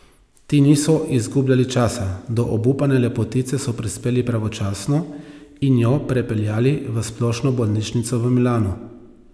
Ti niso izgubljali časa, do obupane lepotice so prispeli pravočasno in jo prepeljali v splošno bolnišnico v Milanu.